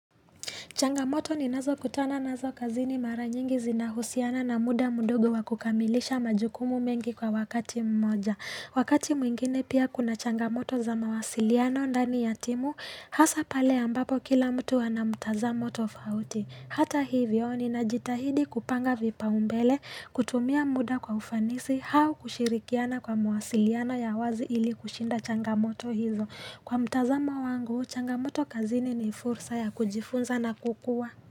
Changamoto ninazokutana nazo kazini mara nyingi zinahusiana na muda mdogo wa kukamilisha majukumu mengi kwa wakati mmoja. Wakati mwingine pia kuna changamoto za mawasiliano ndani ya timu, hasa pale ambapo kila mtu ana mtazamo tofauti. Hata hivyo ninajitahidi kupanga vipaumbele, kutumia muda kwa ufanisi, au kushirikiana kwa mawasiliano ya wazi ili kushinda changamoto hizo. Kwa mtazamo wangu, changamoto kazini ni fursa ya kujifunza na kukua.